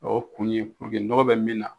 O kun ye nɔgɔ bɛ min na.